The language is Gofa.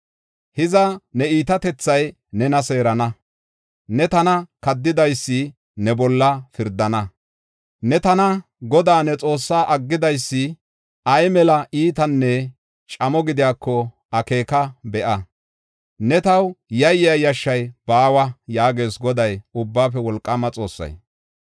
Hiza ne iitatethay nena seerana; ne tana kaddidaysi ne bolla pirdana. Ne tana Godaa ne Xoossaa aggidaysi ay mela iitanne camo gidiyako akeeka be7a. Ne taw yayiya yashshay baawa” yaagees Goday, Ubbaafe Wolqaama Xoossay.